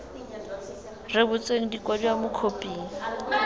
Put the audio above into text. rebotsweng di kwadiwa mo khophing